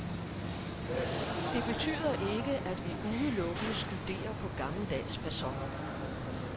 Det betyder ikke, at vi udelukkende studerer på gammeldags facon.